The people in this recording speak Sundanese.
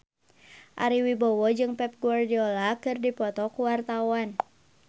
Ari Wibowo jeung Pep Guardiola keur dipoto ku wartawan